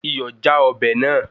Iyọ̀ já ọbẹ̀ náà